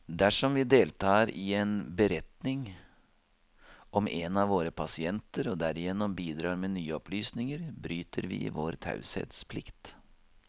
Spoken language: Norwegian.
Dersom vi deltar i en beretning om en av våre pasienter, og derigjennom bidrar med nye opplysninger, bryter vi vår taushetsplikt.